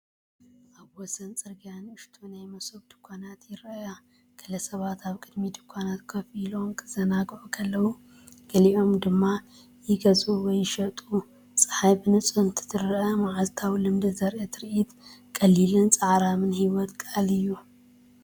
ኣብ ወሰን ጽርግያ ንኣሽቱ ናይ መሶብ ድኳናት ይረኣያ። ገለ ሰባት ኣብ ቅድሚ ድኳናት ኮፍ ኢሎም ክዘናግዑ ከለዉ፡ ገሊኦም ድማ ይገዝኡ ወይ ይሸጡ። ጸሓይ ብንጹር እንትትረአ መዓልታዊ ልምዲ ዘርኢ ትርኢት፡ ቀሊልን ጻዕራምን ህይወት ቃል እዩ።